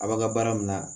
A b'a ka baara min na